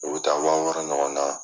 O bɛ taa waa wɔrɔ ɲɔgɔn na.